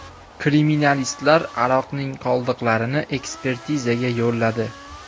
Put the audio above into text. Kriminalistlar aroqning qoldiqlarini ekspertizaga yo‘lladi.